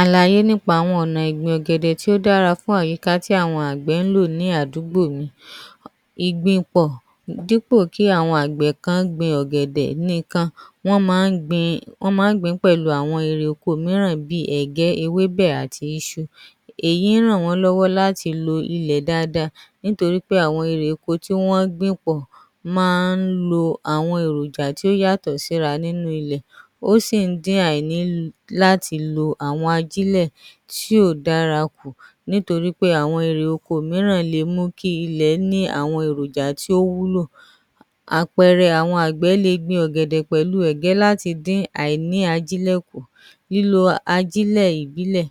Àlàyé nípa àwọn ọ̀nà ìgbìn ọ̀gẹ̀dẹ̀ tó dára fún àwọn àyíká tí àwọn àgbẹ̀ máa ń lò ní àdúgbò yìí, ìgbìn-pọ̀ dípọ̀ kí àwọn àgbẹ̀ kan gbin ọ̀gẹ̀dẹ̀ nìkan, wọ́n máa ń gbìn ín pẹ̀lú àwọn èrè oko mìíràn bíi ẹ̀gẹ́, ọ̀gẹ̀dẹ̀ àti ìṣu, èyí ràn wọ́n lọ́wọ́ láti lo ilẹ̀ dáadáa nítorí àwọn irè oko tí wọ́n gbìn pọ̀ máa ń lo àwọn èròjà tí ó yàtọ̀ síra nínú ilẹ̀, ó sì ń dín àìní láti lo àwọn ajílẹ̀ tí ò dára kù nítorí àwọn irè oko mìíràn lè mú kí ilẹ̀ ní àwọn èròjà tó wúlò. Àpẹẹrẹ, àwọn àgbẹ̀ le gbin ọ̀gẹ̀dẹ̀ pẹ̀lú egẹ́ láti dín àìní ajílẹ̀ kù, lílo ajílẹ̀ ìbílẹ̀,